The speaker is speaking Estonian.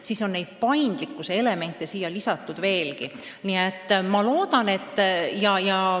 Nii et paindlikkuse elemente on rohkem.